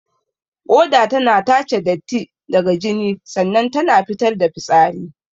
Ƙoda tana tace datti daga jini sannan ta fitar da fitsari.